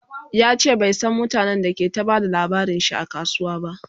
yace bai San mutanen da ke ta Bada labarinshi a kasuwa ba